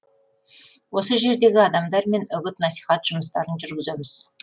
осы жердегі адамдармен үгіт насихат жұмыстарын жүргіземіз